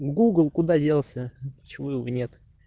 гугл куда делся почему его нет